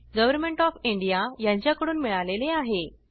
government of India यांच्याकडून मिळालेले आहे